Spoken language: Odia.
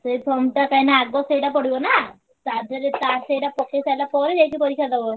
ସେ form ଟା କାଇଁ ନାଁ ଆଗ ପଡିବ ସେଇଟା ନାଁ ଟା ଧରେ ସେଇଟା ପକେଇସାରିଲା ପରେ ଯାଇକି ପରୀକ୍ଷା ଦବ।